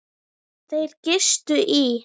Þeir gistu í